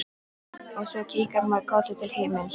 Og svo kinkar maður kolli til himins.